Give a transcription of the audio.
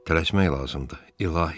Tələsmək lazımdır, İlahi!